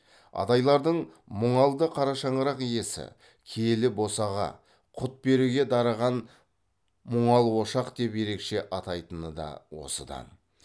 адайлардың мұңалды қарашаңырақ иесі киелі босаға құт береке дарыған мұңал ошақ деп ерекше атайтыны да осыдан